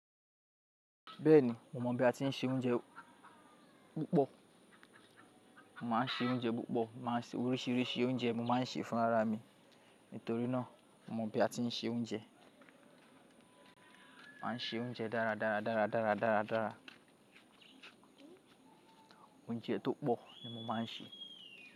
Bẹ́ẹ̀ni, mo mọ bí a ti ń se oúnjẹ púpọ̀. Màá se oúnjẹ púpọ̀. Máa se oríṣiríṣi oúnjẹ mo máa ń ṣe fún ara mi. Nítorí náà mo mọ bí a ti ń se oúnjẹ. Máa se oúnjẹ dára, dára, dára, dára, dára, dára. Oúnjẹ tó pọ̀ ni mo máa ń sè.